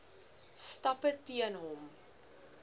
stappe teen hom